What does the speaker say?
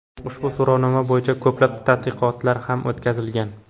Ushbu so‘rovnoma bo‘yicha ko‘plab tadqiqotlar ham o‘tkazilgan.